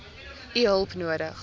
u hulp nodig